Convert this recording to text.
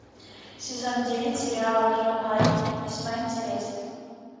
сезон десять сериала кьюай весьма интересно